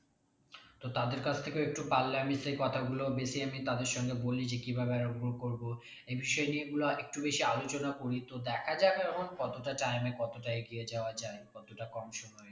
তো তাদের কাছ থেকেও একটু পারলে আমি সেই কথাগুলো বেশি আমি তাদের সঙ্গে বলি যে কিভাবে grow করবো এই বিষয় নিয়ে গুলো আরেকটু বেশি আলোচনা করি তো দেখা যাক এখন কতটা time এ কতটা এগিয়ে যাওয়া যাই কতটা কম সময়ে